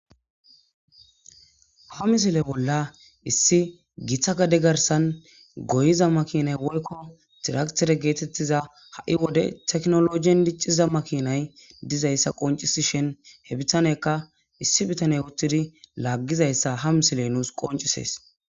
ha misile bolla issi githa gade garsan goyiza makinay woykko diraktere geetettiza ha7i wode teknologiyen dicciza makinay dizayssa qoncisishen he bitaneka issi bitane uttidi laggizayssa ha misile nuus qoncisees